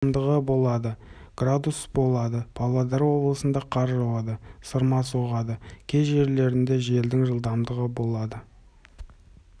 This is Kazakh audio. жылдамдығы болады градус болады павлодар облысында қар жауады сырма соғады кей жерлерінде желдің жылдамдығы болады